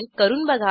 करून बघा